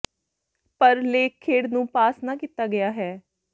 ਪਰ ਲੇਖ ਖੇਡ ਨੂੰ ਪਾਸ ਨਾ ਕੀਤਾ ਗਿਆ ਹੈ